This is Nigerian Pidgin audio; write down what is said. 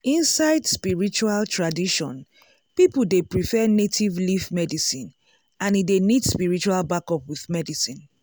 inside spiritual tradition people dey prefer native leaf medicine and e dey need spiritual backup with medicine.